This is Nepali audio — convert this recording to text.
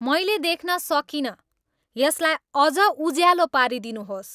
मैले देख्न सकिनँ यसलाई अझ उज्यालो पारिदिनुहोस्